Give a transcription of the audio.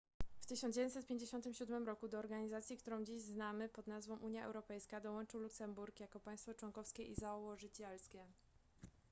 w 1957 roku do organizacji którą dziś znamy pod nazwą unia europejska dołączył luksemburg jako państwo członkowskie i założycielskie